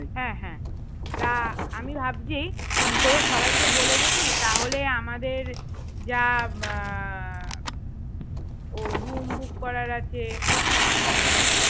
হ্যাঁ হ্যাঁ তা আমি ভাবছি তোদের সবাই কে বলে দেখি তাহলে আমাদের যা আহ room book করার আছে হম